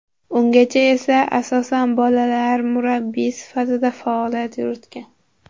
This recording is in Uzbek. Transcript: Ungacha esa, asosan, bolalar murabbiyi sifatida faoliyat yuritgan.